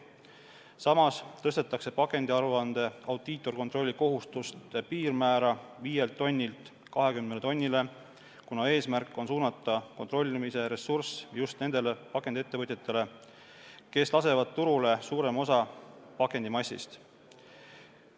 Samas tõstetakse pakendiaruande audiitorkontrolli kohustuste piirmäära 5 tonnilt 20 tonnile, kuna eesmärk on suunata kontrollimise ressurss just nendele pakendiettevõtjatele, kes lasevad turule suurema osa pakendimassist.